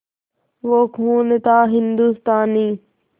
वो खून था हिंदुस्तानी